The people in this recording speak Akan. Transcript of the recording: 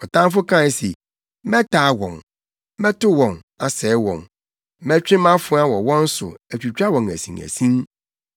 Ɔtamfo kae se, ‘Mɛtaa wɔn, mɛto wɔn, asɛe wɔn. Mɛtwe mʼafoa wɔ wɔn so atwitwa wɔn asinasin.’